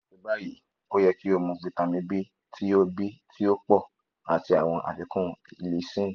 lati bayi o yẹ ki o mu vitamin b ti o b ti o pọ ati awọn afikun lysine